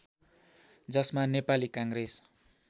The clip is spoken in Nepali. जसमा नेपाली काङ्ग्रेस